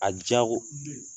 A jago